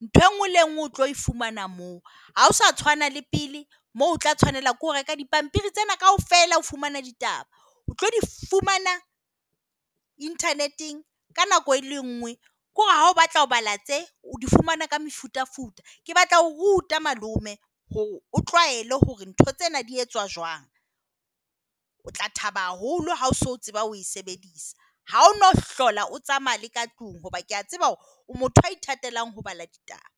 Ntho e nngwe le e nngwe o tlo fumana moo. Ha ho sa tshwana le pele moo o tla tshwanela ke ho reka dipampiri tsena kaofela ho fumana ditaba. O tlo di fumana internet eng ka nako e le nngwe. Ke hore ha o batla ho bala tsena o di fumane ka mefutafuta. Ke batla ho o ruta malome hore o tlwaele hore ntho tsena di jwang. O tla thaba haholo ha o so tseba o sebedisa. Ha o no hlola o tsamaya le ka tlung hoba ke a tseba hore o motho ya ithatelang ho bala ditaba.